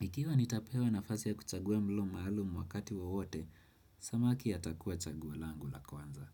ikiwa nitapewa nafasi ya kuchagua mlo maalum wakati wowote samaki atakua chaguo langu la kwanza.